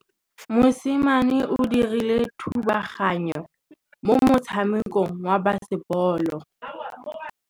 Mosimane o dirile thubaganyô mo motshamekong wa basebôlô.